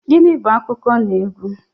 Gịnị bú akụkọnaegwu?